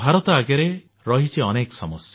ଭାରତ ଆଗରେ ରହିଛି ଅନେକ ସମସ୍ୟା